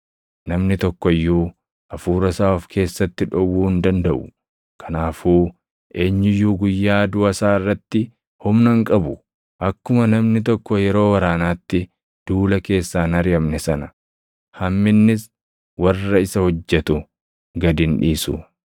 Namni tokko iyyuu hafuura isaa of keessatti dhowwuu hin dandaʼu; kanaafuu eenyu iyyuu guyyaa duʼa isaa irratti humna hin qabu. Akkuma namni tokko yeroo waraanaatti duula keessaa hin ariʼamne sana, hamminnis warra isa hojjetu gad hin dhiisu.